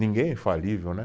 Ninguém é infalível, né.